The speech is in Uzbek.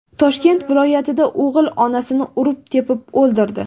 Toshkent viloyatida o‘g‘il onasini urib-tepib o‘ldirdi.